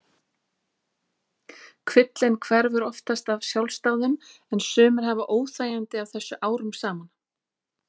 Kvillinn hverfur oftast af sjálfsdáðum en sumir hafa óþægindi af þessu árum saman.